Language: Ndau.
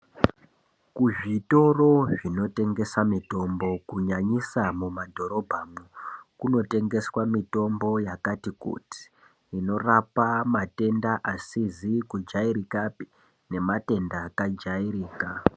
Kuzvitoro zvinotengesa mitombo, kunyanyisa mumadhorobha mwo, kunotengeswa mitombo yakati kuti, inorapa matenda asizikujayirikape nematenda akajayirika.